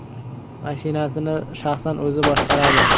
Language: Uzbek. Mashinasini shaxsan o‘zi boshqaradi.